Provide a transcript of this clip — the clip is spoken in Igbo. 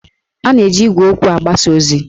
A na-eji igwe okwu agbasa ozi